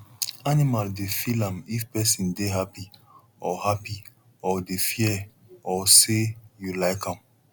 animal dey feel am if pesin dey happy or happy or dey fear or say you like am